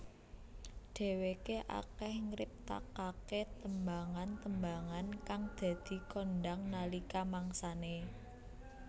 Dheweké akeh ngriptakaké tembangan tembangan kang dadi kondhang nalika mangsane